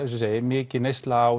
ég segi mikil neysla á